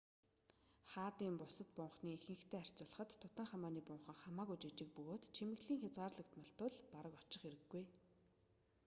хаадын бусад бунханы ихэнхитэй харьцуулахад тутанхамуны бунхан хамаагүй жижиг бөгөөд чимэглэл хязгаарлагдмал тул бараг очих хэрэггүй